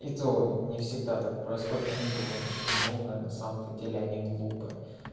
не всегда так происходит я не думаю то что не умная на самом-то деле я не глупая